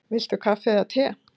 Viltu kaffi eða te?